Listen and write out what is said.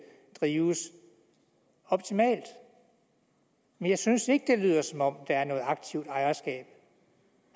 drives optimalt men jeg synes ikke det lyder som om der er noget aktivt ejerskab